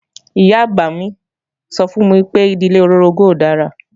Ìyá-àgbà mi sọ fún mi pé ìdílé olóorogún kò dára